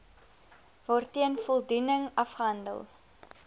waarteen voldoening afgehandel